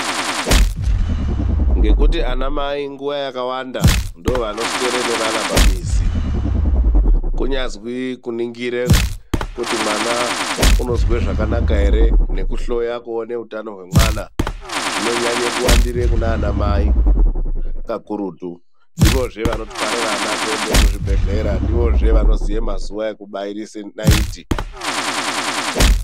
Ngekuti ana mai nguwa yakawanda ndoovanoswere nevana pamizi. Kunyazwi kuningire kuti mwana unozwe zvakanaka here, nekuhloya kuone hutano hwemwana. Zvinonyanye kuwandire kunaana mai kakututu. Ndivozve vanotwara vana kuende kuzvibhedhlera. Ndivozve vanoziye mazuva ekubairise naiti.